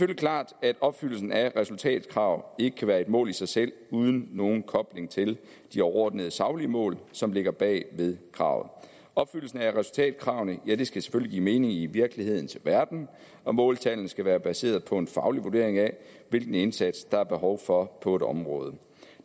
klart at opfyldelsen af resultatkrav ikke kan være et mål i sig selv uden nogen kobling til de overordnede saglige mål som ligger bag ved kravet opfyldelse af resultatkravene skal selvfølgelig give mening i virkelighedens verden og måltallene skal være baseret på en faglig vurdering af hvilken indsats der er behov for på et område